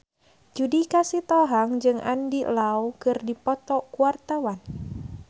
Judika Sitohang jeung Andy Lau keur dipoto ku wartawan